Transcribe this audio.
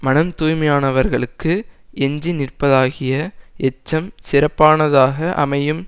மனம் தூய்மையானவர்களுக்கு எஞ்சி நிற்பதாகிய எச்சம் சிறப்பானதாக அமையும்